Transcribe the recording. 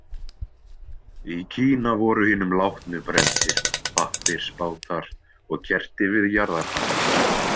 Í Kína voru hinum látnu brenndir pappirsbátar og kerti við jarðarfarir.